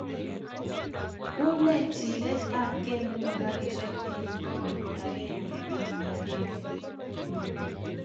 Unee chilet ap ge nepo karishek en pogol agenge ak agenge